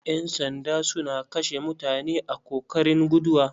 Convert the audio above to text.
Ƴan sandan suna kashe mutane a kokarin guduwa.